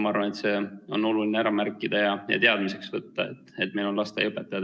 Ma arvan, et see on oluline ära märkida ja tasub teadmiseks võtta, et meil on lasteaiaõpetajad.